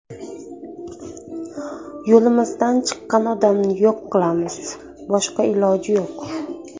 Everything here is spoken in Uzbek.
Yo‘limizdan chiqqan odamni yo‘q qilamiz, boshqa iloji yo‘q.